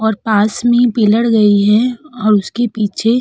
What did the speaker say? और पास में पिलर गई है और उसके पीछे --